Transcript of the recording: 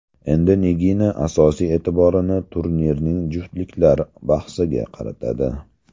Endi Nigina asosiy e’tiborini turnirning juftliklar bahsiga qaratadi.